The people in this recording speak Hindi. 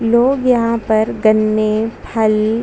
लोग यहाँ पर गन्ने खाली--